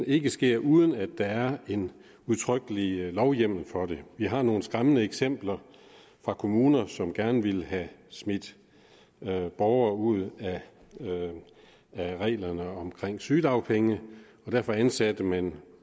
ikke sker uden at der er en udtrykkelig lovhjemmel for det vi har nogle skræmmende eksempler fra kommuner som gerne ville have smidt borgere ud af reglerne om sygedagpenge og derfor ansatte man